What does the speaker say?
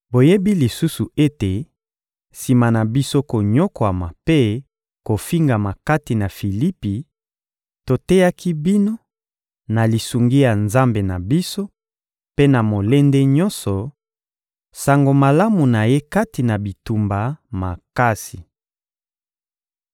Boyebi lisusu ete, sima na biso konyokwama mpe kofingama kati na Filipi, toteyaki bino, na lisungi ya Nzambe na biso mpe na molende nyonso, Sango Malamu na Ye kati na bitumba makasi.